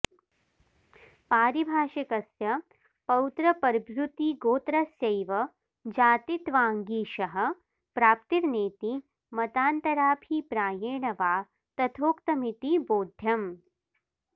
पारिभाषिकस्य पौत्रपर्भृतिगोत्रस्यैव जातित्वान्ङीषः प्राप्तिर्नेति मतान्तराभि प्रायेण वा तथोक्तमिति बोध्यम्